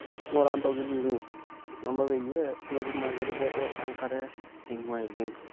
ngura ntokitin inonopeyie metum ake eruko enkare naingua El nino